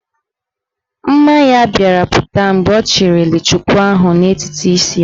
Mma ya bịara pụta mgbe ọ chịliri chuku ahụ n'etiti isi ya.